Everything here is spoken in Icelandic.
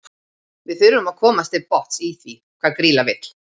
Við þurfum að komast til botns í því hvað Grýla vill.